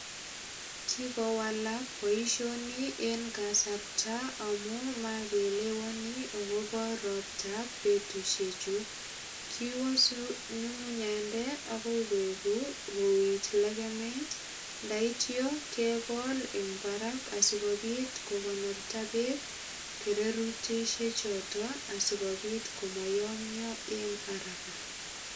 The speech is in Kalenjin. Kikowalak boisioni en kasarta amu mageelewani agobo roptab betusiechu. Kiwase nyungunyande agoi koegugu kowich legemet. Ndaityokegol eng barak asigopit kogonorta beek kererutisiechoto asigopit komoyomyo en araka.